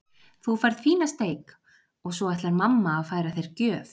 Þú færð fína steik og svo ætlar mamma að færa þér gjöf.